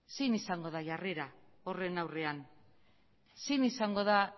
zein izango da jarrera horren aurrean zein izango da